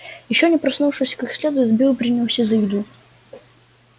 ещё не проснувшись как следует билл принялся за еду